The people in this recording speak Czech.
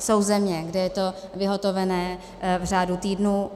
Jsou země, kde je to vyhotovené v řádu týdnů.